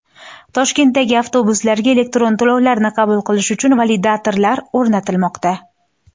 Toshkentdagi avtobuslarga elektron to‘lovlarni qabul qilish uchun validatorlar o‘rnatilmoqda.